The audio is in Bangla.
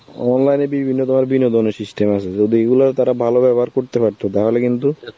online এ বিভিন্ন ধর~ বিনোদনের system আছে, যদি এইগুলো তারা ভালো ব্যবহার করতে পারত তাহলে কিন্তু